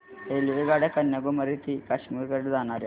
रेल्वेगाड्या कन्याकुमारी ते काश्मीर कडे जाणाऱ्या